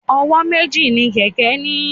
Ọwọ́ méjì ni kẹ̀kẹ́ ní.